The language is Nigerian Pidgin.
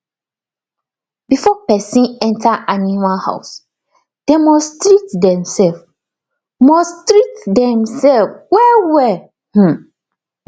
before person enter animal housedem must treat themselves must treat themselves well well um